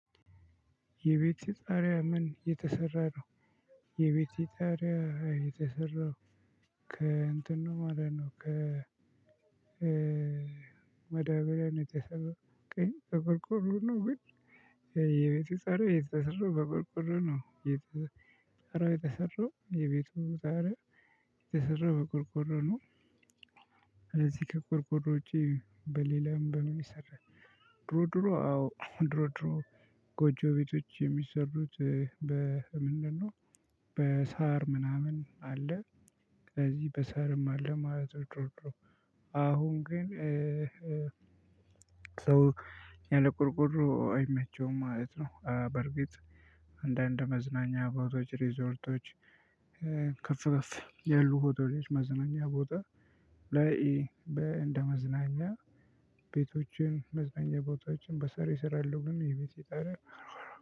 የቤትህ ጣሪያ ምን የተሰራ ነው? የቤት ጣሪያ የተሰራው ከእንትን ነው ማለት ነው ከመዳበሪያ የተሰራው የቤቱ ጣሪያው የተሰራው በቆርቆሮ ነው የተሰራው የቤቱ ጣሪያ የተሰራው በቆርቆሮ ነው። እዚህ ከቁርቁሮ ውጪ በሌላም በምን ይሰራል? ድሮ ድሮ አዎ ድሮ ድሮ ጎጆ ቤቶች የሚሰሩት በ ምንድነው? በሳር ምናምን አለ ከዚህ በሳርም አለ ማለት ነው። ድሮ ድሮ አሁን ግን ሰው ያለ ቆርቆሮ አይመቸውም ማለት ነው። በርግጥ አንዳንድ መዝናኛ ቤቶች ሪዞርቶች። ከፍ ከፍ ያሉ ሆቶሎች መዝናኛ ቦታ ላይ እንደ መዝናኛ ቤቶችን መዝናኛ ቦታዎችን በሳር ይሰራሉ። ግን የቤቱ ጣሪያ ቆርቆሮ